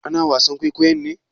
Ana wasan kwaikwayon ne?